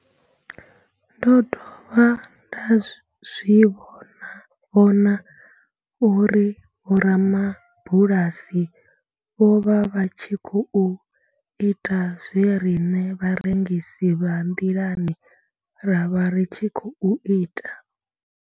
Ndo dovha nda zwi vhona uri vhorabulasi vho vha vha tshi khou ita zwe riṋe vharengisi vha nḓilani ra vha ri tshi khou ita.